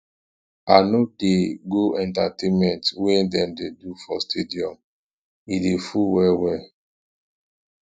i no dey go entertainment wey dem dey do for stadium e dey full wellwell